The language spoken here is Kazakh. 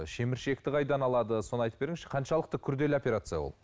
шеміршекті қайдан алады соны айтып беріңізші қаншалықты күрделі операция ол